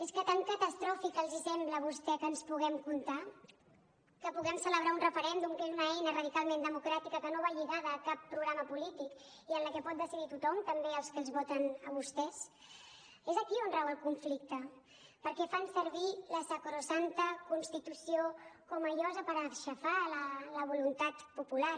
és que tan catastròfic els sembla a vostè que ens puguem comptar que puguem celebrar un referèndum que és una eina radicalment democràtica que no va lligada a cap programa polític i en la que pot decidir tothom també els que els voten a vostès és aquí on rau el conflicte perquè fan servir la sacrosanta constitució com a llosa per aixafar la voluntat popular